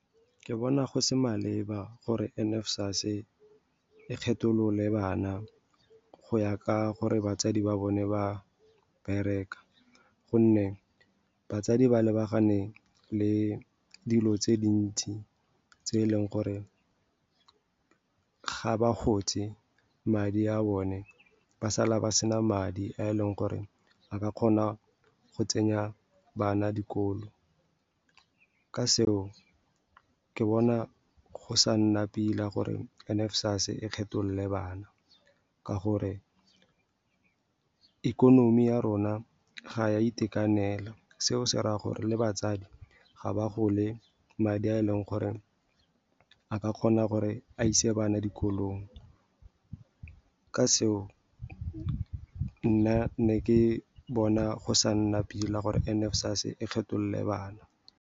Ke bona go se maleba gore N_SFAS e kgetholole bana go ya ka gore batsadi ba bone ba bereka, gonne batsadi ba lebagane le dilo tse dintsi tse e leng gore ga ba go tse, ba sala ba sena madi a e leng gore a ka kgona go tsenya bana dikolo. Ka seo, ke bona go sa nna pila gore N_SFAS e kgetholole bana ka gore ikonomi ya rona ga ya itekanela. Seo se raya gore le batsadi ga ba gole madi a e leng gore a ka kgona gore a ise bana dikolong. Ka seo, nna ne ke bona go sa nna pila gore N_SFAS e kgetholole bana.